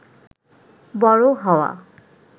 বড় হওয়া